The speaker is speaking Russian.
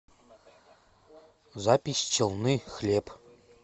запись челны хлеб